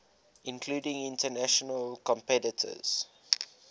including international competitors